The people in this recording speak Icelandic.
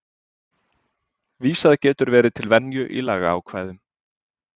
vísað getur verið til venju í lagaákvæðum